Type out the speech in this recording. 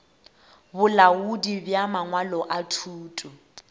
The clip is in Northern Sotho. bolaodi bja mangwalo a thuto